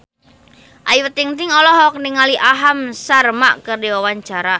Ayu Ting-ting olohok ningali Aham Sharma keur diwawancara